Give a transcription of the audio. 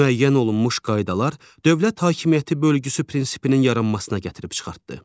Müəyyən olunmuş qaydalar dövlət hakimiyyəti bölgüsü prinsipinin yaranmasına gətirib çıxartdı.